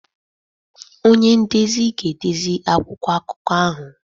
Ọnye ndezi ga-edezi akwụkwọ akụko ahụ